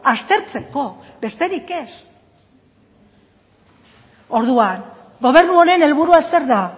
aztertzeko besterik ez orduan gobernu honen helburua zer da